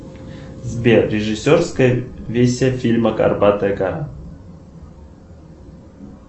сбер режиссерская версия фильма горбатая гора